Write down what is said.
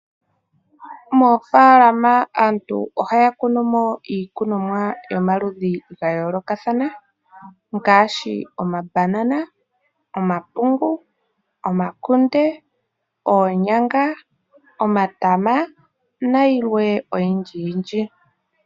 Moofaalama aantu ohaya kunu mo iikunomwa yomaludhi ga yoolokathana ngaashi omabanana, omapungu, omakunde, oonyanga, omatama nayilwe oyindji yindji.